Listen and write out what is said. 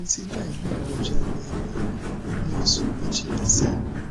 mo ti la eyi koja lemerin ni osu mejila sehin